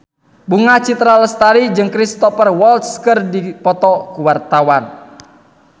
Bunga Citra Lestari jeung Cristhoper Waltz keur dipoto ku wartawan